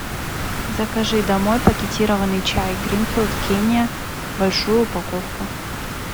закажи домой пакетированный чай гринфилд кения большую упаковку